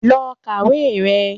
Lọ kàwé rẹ!